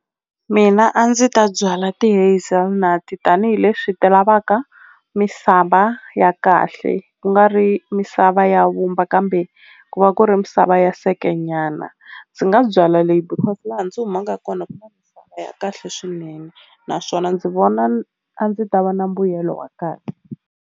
Mina a ndzi ta byala tanihileswi ti lavaka misava ya kahle ku nga ri misava ya vumba kambe ku va ku misava ya nyana ndzi nga byala leyi because laha ndzi humaka kona ya kahle swinene naswona ndzi vona a ndzi ta va na mbuyelo wa kahle.